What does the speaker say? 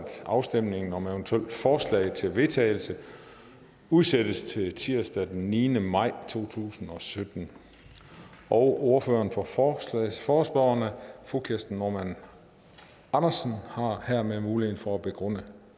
afstemning om eventuelle forslag til vedtagelse udsættes til tirsdag den niende maj to tusind og sytten ordføreren for for forespørgerne fru kirsten normann andersen har hermed muligheden for at begrunde